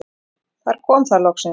Þar kom það loksins.